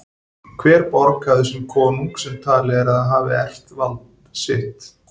Hver borg hafði sinn konung sem talið er að hafi erft vald sitt.